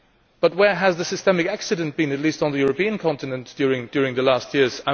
but where has the systemic accident been, at least on the European continent, during the last years?